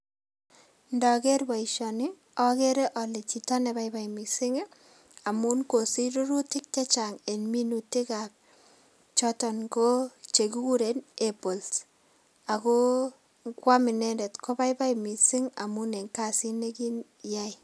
Ndoker boisioni okere ole chito nebaibai missing' amun kosich rurutik chechang' en minutikab choton ko chekikuren apples. Ako ikwam inendet kobaibai missing' en kasit nekiyai.